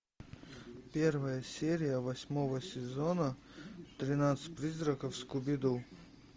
первая серия восьмого сезона тринадцать призраков скуби ду